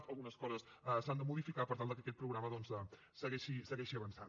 si algunes coses s’han de modificar per tal que aquest programa doncs segueixi avançant